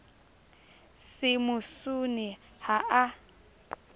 se mo sune ha a